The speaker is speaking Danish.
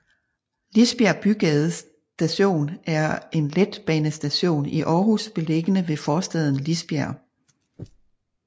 Lisbjerg Bygade Station er en letbanestation i Aarhus beliggende ved forstaden Lisbjerg